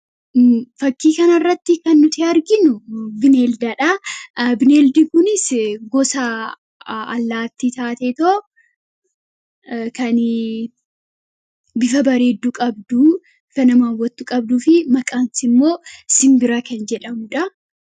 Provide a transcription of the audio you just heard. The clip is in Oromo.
Fakkii kana irratti kan nuti arginu bineelda dha. Bineeldi kunis gosa allaattii taa'eetoo kan bifa bareedduu qabdu, bifa nama hawwattu qabduu fi maqaan isii immoo simbira kan jedhamuudha.